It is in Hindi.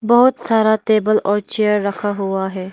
बहोत सारा टेबल और चेयर रखा हुआ है।